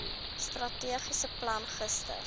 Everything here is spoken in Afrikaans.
strategiese plan gister